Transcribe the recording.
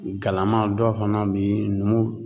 Galama dɔ fana bɛ yen numu